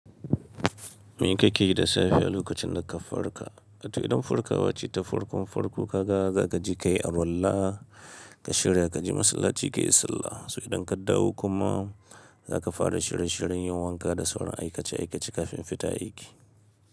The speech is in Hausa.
Me kake yi da safe a lokacin da ka farka? To idan farkawa ce ta farkon farko, ka ga za ka ji kayi arwalla, ka shirya ka ji masallaci kayi sallah. Sai idan ka dawo kuma za ka fara shirin-shirin yin wanka da sauran aikace-aikace kafin fita aiki.